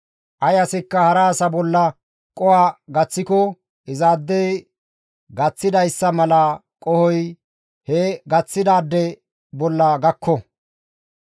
«Ay asikka hara asa bolla qoho gaththiko izaadey qoho gaththidayssa mala qohoy he gaththidaade bolla gakko.